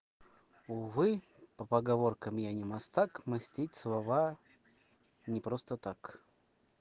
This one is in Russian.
увы по поговоркам я не мастак мостить слова не просто так